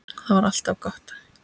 Það var alltaf gott.